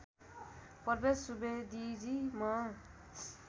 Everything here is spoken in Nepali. प्रवेश सुवेदीजी म